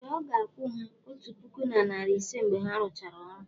ee, ọ ga-akwụ ha otu puku na narị ise mgbe ha rụchara ọrụ.